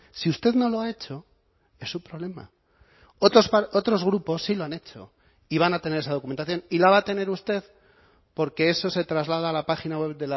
si usted no lo ha hecho es su problema otros grupos sí lo han hecho y van a tener esa documentación y la va a tener usted porque eso se traslada a la página web